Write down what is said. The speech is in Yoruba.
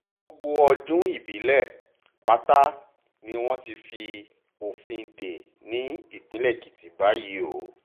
gbogbo ọdún ìbílẹ̀ pátá ni wọ́n ti fi òfin dè ní ìpínlẹ̀ èkìtì báyìí o